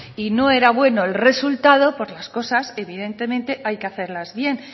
y no era bueno el resultado pues las cosas evidentemente hay que hacerlas bien